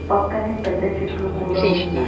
పక్కనే పెద్ద చెట్లు కూడా ఉన్నాయి.